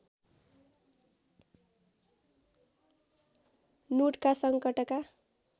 नूटका सङ्कटका